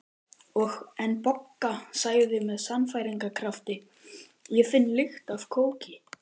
En Bogga sagði með sannfæringarkrafti: Ég finn lykt af kóki